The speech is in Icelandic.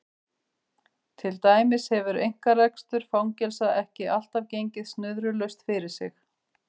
Til dæmis hefur einkarekstur fangelsa ekki alltaf gengið snurðulaust fyrir sig.